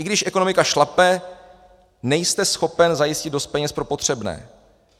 I když ekonomika šlape, nejste schopen zajistit dost peněz pro potřebné.